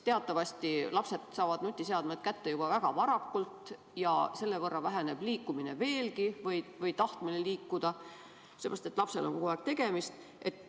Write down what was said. Teatavasti saavad lapsed nutiseadmed kätte juba väga varakult ja selle võrra väheneb liikumine või tahtmine liikuda veelgi, sest lapsel on kogu aeg tegemist.